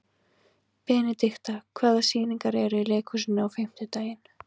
Benidikta, hvaða sýningar eru í leikhúsinu á fimmtudaginn?